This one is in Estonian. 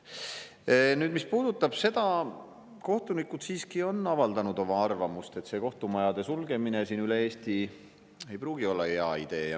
Mis puudutab, siis kohtunikud siiski on avaldanud arvamust, et kohtumajade sulgemine üle Eesti ei pruugi olla hea idee.